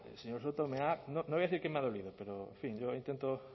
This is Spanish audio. señor soto no voy a decir que me ha dolido pero en fin yo intento